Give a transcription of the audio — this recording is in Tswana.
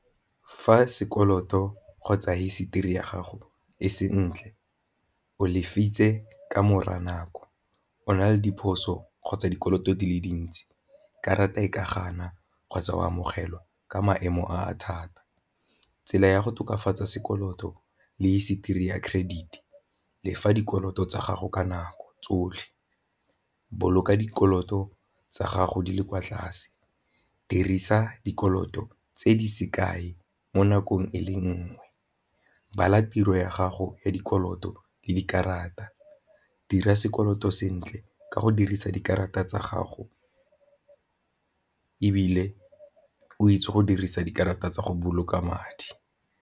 Fa sekoloto kgotsa hisetori ya gago e se ntle o ka nako, o na le diphoso kgotsa dikoloto di le dintsi karata e ka gana kgotsa o amogelwa ka maemo a thata. Tsela ya go tokafatsa sekoloto le history ya credit lefa dikoloto tsa gago ka nako tsotlhe, boloka dikoloto tsa gago di le kwa tlase, dirisa dikoloto tse di se kae mo nakong e le nngwe, bala tiro ya gago ya dikoloto le dikarata, dira sekoloto sentle ka go dirisa dikarata tsa gago ebile o itse go dirisa dikarata tsa go boloka madi.